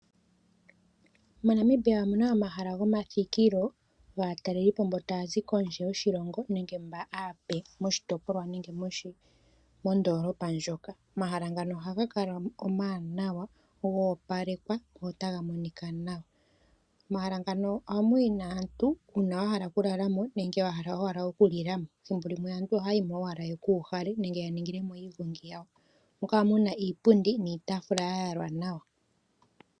MoNamibia omu na omahala ngoka gomathikilo gaatalelipo mboka taya zi kondje yoshilongo nenge mba aape moshitopolwa moka nenge mondoolopa ndjoka. Omahala ngano ohaga kala omawanawa go opalekwa notaga monika nawa. Omahala ngano ohamu yi nee aantu uuna ya hala okulala mo nenge ya hala owala okulila mo thimbolimwe. Aantu ohaya yi mo owala yeku uhale nenge ya ningile mo iigongi yawo. Ohamu kala mu na iipundi niitaafula ya yalwa nawa.